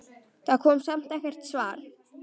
Það kom samt ekkert svar.